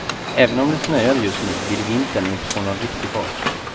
Även om det snöar just nu vill vintern inte få någon riktig fart.